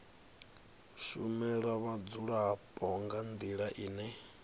shumela vhadzulapo nga ndila ine